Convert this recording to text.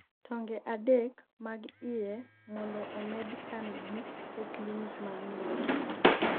tonge adek mag iye mondo omed kan gi e klinic mar nyuol